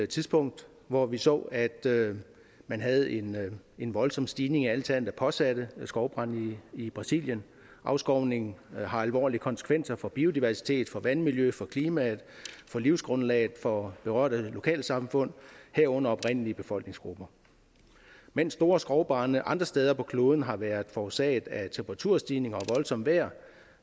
tidspunkt hvor vi så at man havde en en voldsom stigning i antallet af påsatte skovbrande i brasilien afskovningen har alvorlige konsekvenser for biodiversitet for vandmiljø for klima for livsgrundlag for berørte lokalsamfund herunder oprindelige befolkningsgrupper mens store skovbrande andre steder på kloden har været forårsaget af temperaturstigninger og voldsomt vejr